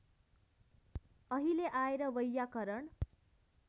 अहिले आएर वैयाकरण